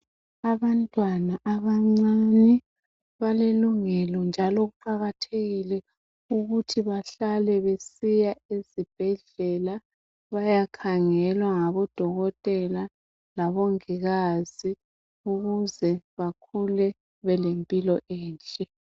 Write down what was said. Abantwana abancane balelungelo njalo kuqakathekile ukuthi bahlale besiya ezibhedlela, bayekhangelwa ngabodokotela labongikazi ukuze bakhule belempilo enhle.